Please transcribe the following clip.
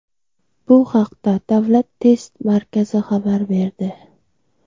Bu haqda Davlat test markazi xabar berdi.